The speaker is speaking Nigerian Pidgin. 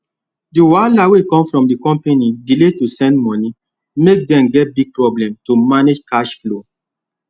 the wahala wey come from the company delay to send money make dem get big problem to manage cash flow